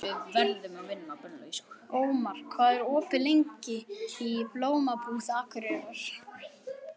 Ómar, hvað er opið lengi í Blómabúð Akureyrar?